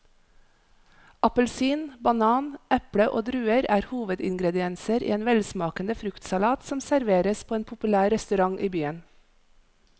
Appelsin, banan, eple og druer er hovedingredienser i en velsmakende fruktsalat som serveres på en populær restaurant i byen.